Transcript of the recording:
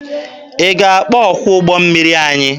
Ị ga-akpọ ọkwọ ụgbọ mmiri anyị?